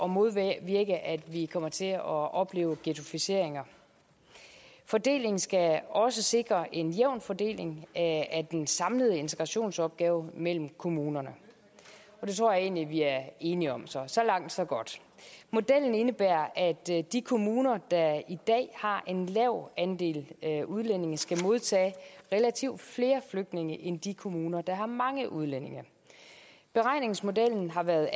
modvirke at vi kommer til at opleve ghettoisering fordelingen skal også sikre en jævn fordeling af den samlede integrationsopgave mellem kommunerne det tror jeg egentlig vi er enige om så så langt så godt modellen indebærer at de kommuner der i dag har en lav andel udlændinge skal modtage relativt flere flygtninge end de kommuner der har mange udlændinge beregningsmodellen har været